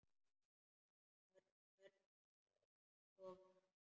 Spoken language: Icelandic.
Hann hörfaði inn í stofu.